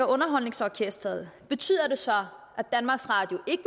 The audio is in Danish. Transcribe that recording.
underholdningsorkestret betyder det så at danmarks radio ikke